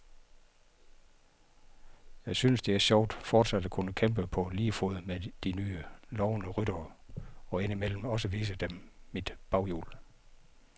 Jeg synes, det er sjovt fortsat at kunne kæmpe på lige fod med de nye, lovende ryttere og indimellem også vise dem mit baghjul.